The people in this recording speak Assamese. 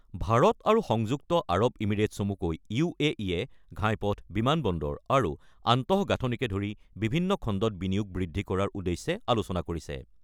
ভাৰত আৰু সংযুক্ত আৰব ইমিৰেট চমুকৈ য়ে ঘাইপথ, বিমান বন্দৰ আৰু আন্তঃগাঁথনিকে ধৰি বিভিন্ন খণ্ডত বিনিয়োগ বৃদ্ধি কৰাৰ উদ্দেশ্যে আলোচনা কৰিছে।